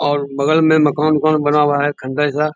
और बगल में मकान उकान बना हुआ है ठंडा जैसा।